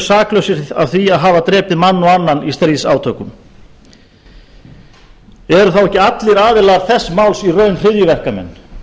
saklausir af því að hafa drepið mann og annan í stríðsátökum eru þá ekki allir aðilar þess máls í raun hryðjuverkamenn